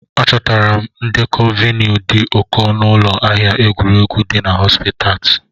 Achọtara m ndekọ vinyl dị ụkọ n'ụlọ ahịa egwu dị na Haipasiti.